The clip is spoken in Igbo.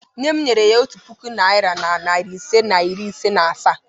Nne m nyere ya otu puku naira na narị ise na iri ise na asaa.